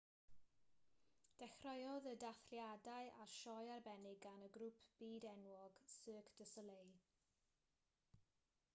dechreuodd y dathliadau â sioe arbennig gan y grŵp byd-enwog cirque du soleil